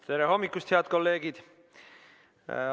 Tere hommikust, head kolleegid!